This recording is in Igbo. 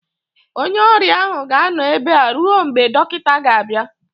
onye ọrịa ahụ ga-anọ ebe a ruo mgbe dọkịta ga-abịa